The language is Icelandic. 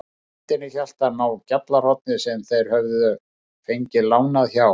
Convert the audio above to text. Í hendinni hélt hann á GJALLARHORNI sem þeir höfðu fengið lánað hjá